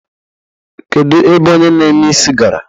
Kedu ebe onye na-eme isi gara?